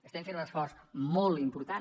estem fent un esforç molt important